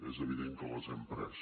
és evident que les hem pres